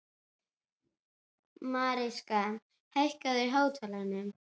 Mariska, hækkaðu í hátalaranum.